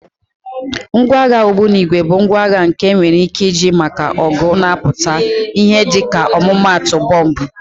Ngwa agha ogbunigwe bụ ngwa agha nke enwere ike iji maka ọgụ na-apụtaghị ìhè dịka ọmụmaatụ bọmbụ.